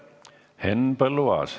Henn Põlluaas.